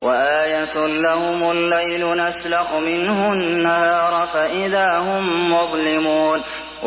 وَآيَةٌ لَّهُمُ اللَّيْلُ نَسْلَخُ مِنْهُ النَّهَارَ فَإِذَا هُم مُّظْلِمُونَ